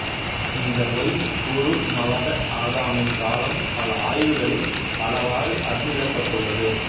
இந்த ஒய் குறுமவக ஆதாமின் காலம் பல ஆய்வுகளில் பலவாறு அறுதியிடப்பட்டுள்ளது